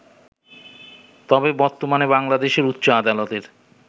তবে বর্তমানে বাংলাদেশের উচ্চ আদালতের